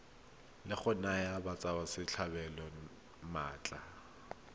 la go naya batswasetlhabelo maatla